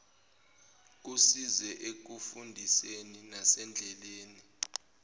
kusize ekufundiseni nasendleleni